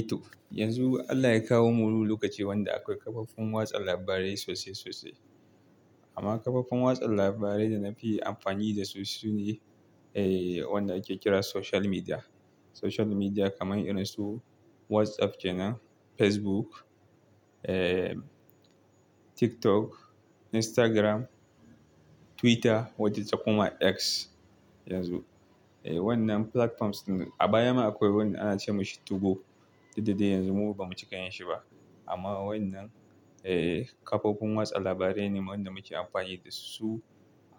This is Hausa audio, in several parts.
Toh yanzu Allah ya kawo mu wani lokaci wanda akwai kafofin watsa labarai sosai sosai. Amma kafofin watsa labarai da na fi amfani da su sune, wanda ake kira social media. Social media kamar irin su WhatsApp kenan, Facebook TikTok, Instagram, Twitter wadda takuma X yanzu. Wannan platforms a baya ma akwai wanda ana ce mashi 2go, duk da dai yanzu mu kuma ba mu cika yin shi ba. Amma wannan kafofin watsa labarai ne waɗanda muke amfani da su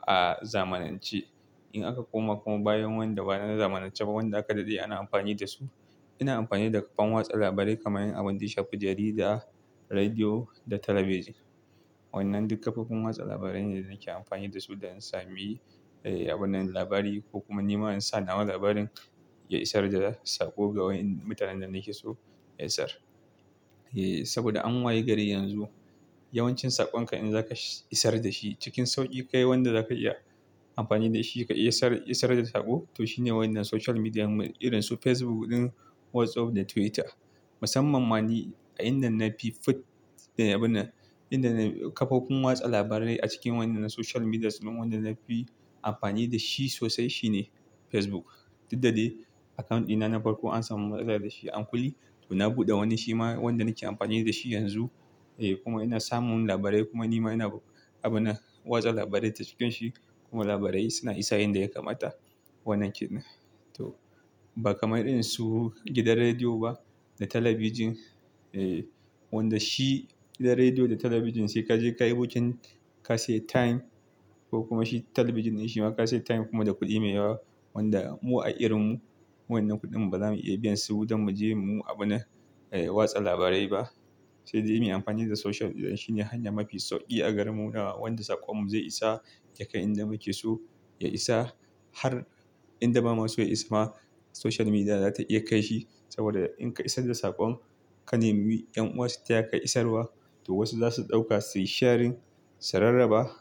a zamanance. In aka koma kuma bayan wanda bana zamananceba wanda aka daɗe ana amfani da su, ina amfani da kafan watsa labarai kamar abin da shafi jarida, rediyo da talabijin. Wannan duk kafofin watsa labarai ne da nake amfani da su da in sami abin nan labari ko kuma nima in sa nawa labarin ya isar da sako ga wayen da mutanen da nake so ya isar. Ssaboda an waye gari yanzu, yawancin saƙonka in za ka isar da shi cikin sauƙi kawai wanda za ka iya amfani da shi ka iya isar, isar da sako to shine wannan social median mu irin su Facebook ɗin, WhatsApp da Twitter. Musamman ma ni a inda na fi fut da abun nan, inda na kafofin watsa labarai a cikin wannan social medias wanda na fi amfani da shi sosai shine Facebook. Duk da dai account dina na farko an samu matsala da shi an kulle na buɗe wani shi ma wanda nake amfani da shi yanzu. Kuma ina samun labarai kuma nima ina abina watsa labarai ta cikin shi kuma labarai suna isa inda ya kamata wannan kenan. To ba kamar irin su gidan rediyo ba da talabijin. Wanda shi gidan rediyo da talabijin sai ka je ka yi booking ka sayi time ko kuma shi talabijin ne shi ma ka sayi time kuma da kuɗi mai yawa wanda mu a irin mu wannan kuɗin mu ba za mu iya biyan su don mu je mu yi abina watsa labarai ba. Sai dai muyi amfani da social media shine hanya mafi sauƙi a gare mu nawa wanda saƙon mu zai isa ya kai inda muke so ya isa har inda ba maso ya isa ma social media za ta iya kai shi. Saboda in ka isar da saƙon, ka nemi ƴan'uwa su taya ka isarwa toh wasu za su ɗauka su yi sharing, su rarraba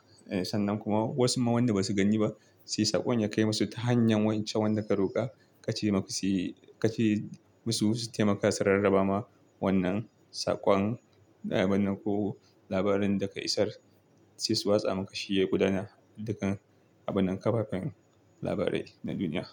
sannan kuma wasu ma wanda ba su gani ba sai saƙon ya kai masu ta hanyar wancan wanda ka roƙa ka ce ma su ka ce masu su taimaka su rarraba ma wannan saƙon da abun nan ko labarin da ka isar. Sai su watsa maka shi ya gudana dukan abunan kafafen labarai na duniya.